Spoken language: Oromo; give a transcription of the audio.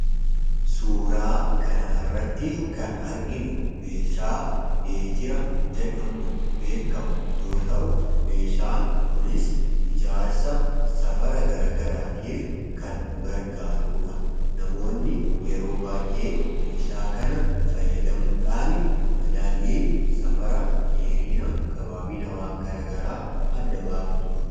suuraa kanarratti kan arginu meeshaa meetira jedhamuun beekamu yoo ta'u meeshaan kunis ijaarsa safara garagaraatiif kan nu gargaaruudha .namoonni yeroo baayee meeshaa kana fayyadamuudhaan madaalii safara dheerina gabaabina waan garagaraa adda baafatu.